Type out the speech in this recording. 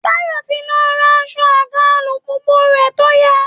Táyọ̀ ti lọ rán aṣọ àga alùpùpù rẹ̀ tó ya